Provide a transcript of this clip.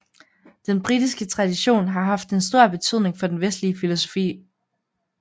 Den britiske tradition har haft en stor betydning for den vestlige filosofi